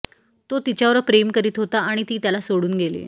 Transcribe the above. तो तिच्यावर प्रेम करीत होता आणि ती त्याला सोडून गेली